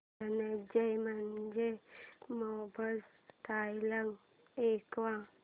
धनंजय मानेचे famous dialogue ऐकव